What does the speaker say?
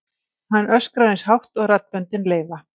Hann öskrar eins hátt og raddböndin leyfa.